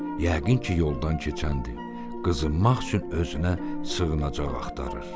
Yəqin ki, yoldan keçəndir, qızınmaq üçün özünə sığınacaq axtarır.